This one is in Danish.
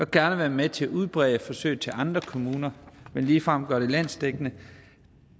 gerne være med til at udbrede forsøget til andre kommuner men ligefrem at gøre det landsdækkende